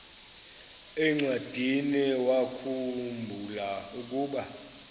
encwadiniwakhu mbula ukuba